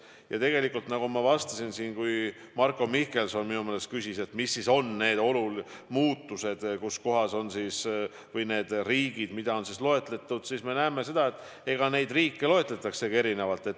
Ja nagu ma vastasin Marko Mihkelsonile, kes küsis, mis on olnud olulised muutused, millised riigid on ohupiirkondade loetelus: me näeme, et nende riikide loetelusid koostatakse erinevalt.